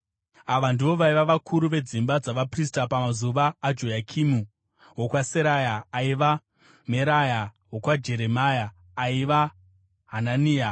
Ava ndivo vaiva vakuru vedzimba dzavaprista, pamazuva aJoyakimu: wokwaSeraya, aiva Meraya; wokwaJeremia, aiva Hanania;